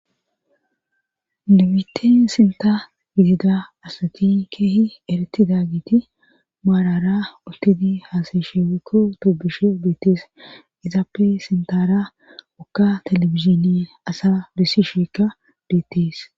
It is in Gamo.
Limite sinta gitida asati keehi eretida giti maarara uttidi haasayshewekko toobushe beettees izaape sintara wokka telebiziniye asa disisheekka beettees.